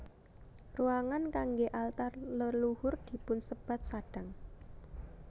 Ruangan kanggé altar leluhur dipunsebat sadang